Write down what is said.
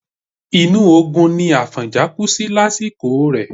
Inú ogun ni Àfọ̀njá kú sí lásìkò rẹ̀.